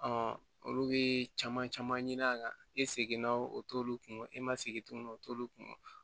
olu bɛ caman caman ɲini a kan e seginna o t'olu kun e ma segi tuguni o t'olu kun